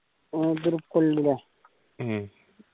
ആതിരപ്പള്ളി അല്ലെ ഉം